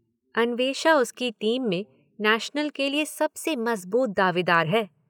अन्वेषा उसकी टीम में नेशनल के लिए सबसे मजबूत दावेदार है।